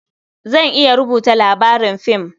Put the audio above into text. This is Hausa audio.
Zan iya rubuta labarin fim.